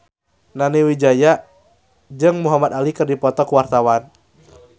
Nani Wijaya jeung Muhamad Ali keur dipoto ku wartawan